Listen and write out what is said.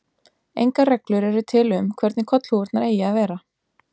Engar reglur eru til um hvernig kollhúfurnar eigi að vera.